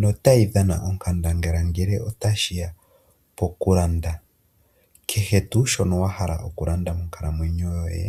nota yi dhana onkandangala ngele ota shiya pokulanda kehe tuu shono wa hala okulanda monkalamwenyo yoye